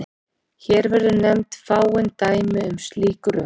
Hér verða nefnd fáein dæmi um slík rök.